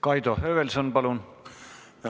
Kaido Höövelson, palun!